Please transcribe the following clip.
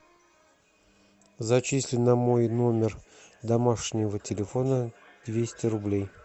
зачисли на мой номер домашнего телефона двести рублей